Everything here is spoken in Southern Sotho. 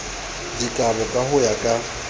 dikabo ka ho ya ka